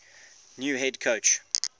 new head coach